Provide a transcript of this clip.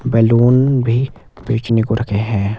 Balloon भी बेचने को रखे हैं।